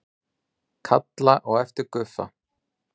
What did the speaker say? Kalla á eftir Guffa.